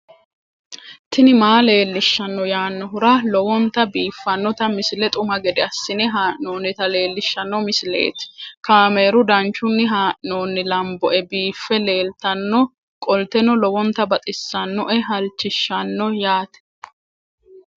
tini maa leelishshanno yaannohura lowonta biiffanota misile xuma gede assine haa'noonnita leellishshanno misileeti kaameru danchunni haa'noonni lamboe biiffe leeeltannoqolten lowonta baxissannoe halchishshanno yaate